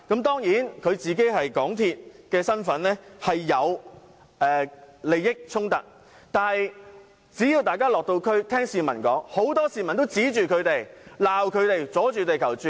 當然，他的身份是港鐵主席，有利益衝突，但大家如果有落區聆聽市民的意見，應知道很多市民都指罵反對派議員"阻住地球轉"。